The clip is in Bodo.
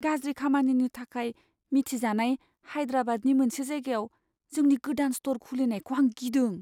गाज्रि खामानिनि थाखाय मिथिजानाय हाइद्राबादनि मोनसे जायगायाव जोंनि गोदान स्ट'र खुलिनायखौ आं गिदों।